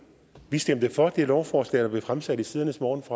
vi stemte for det lovforslag der blev fremsat i tidernes morgen